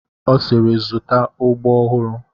Ọ sịịrị, zụta ụbọ ọhụrụ!